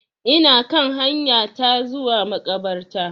Ina kan hanya ta zuwa makabarta.